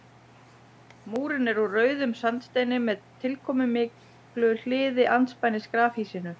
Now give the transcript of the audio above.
Múrinn er úr rauðum sandsteini með tilkomumiklu hliði andspænis grafhýsinu.